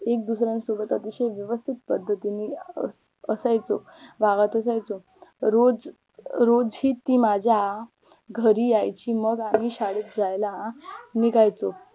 एक दुसर्यांसोबत अतिशय व्यवस्थित पद्धतीने अं असायचो गावात जायचो रोज अं रोज ही ती माझ्या घरी येयची मग आम्ही शाळेत जायला निघायचो